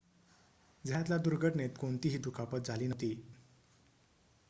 झयातला दुर्घटनेत कोणतीही दुखापत झाली नव्हती